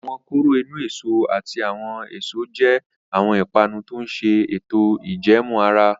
Awọn koro inu-eso ati awọn eso je awọn ipanu to ǹ ṣe eto ijẹẹmu ara